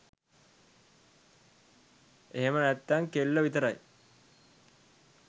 එහෙම නැත්තං කෙල්ලෝ විතරයි